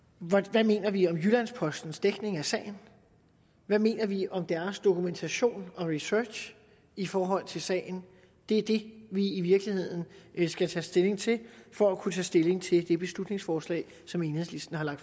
hvad mener vi om jyllands postens dækning af sagen hvad mener vi om deres dokumentation og research i forhold til sagen det er det vi i virkeligheden skal tage stilling til for at kunne tage stilling til det beslutningsforslag som enhedslisten har